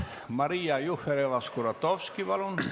Maria Jufereva-Skuratovski, palun!